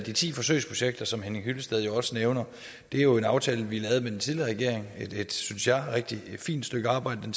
at de ti forsøgsprojekter som herre henning hyllested også nævner jo er en aftale vi lavede med den tidligere regering et synes jeg rigtig fint stykke arbejde den